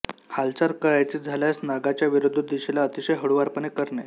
हालचाल करायची झाल्यास नागाच्या विरुद्ध दिशेला अतिशय हळूवारपणे करणे